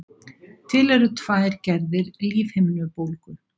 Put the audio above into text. til eru tvær gerðir lífhimnubólgu